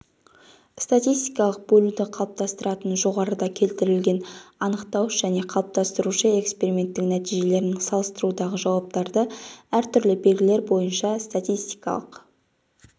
статистикалық бөлуді қалыптастыратын жоғарыда келтірілген анықтауыш және қалыптастырушы эксперименттің нәтижелерін салыстырудағы жауаптарды әртүрлі белгілер бойынша статистикалық